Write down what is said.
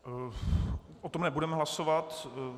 O tom nebudeme hlasovat.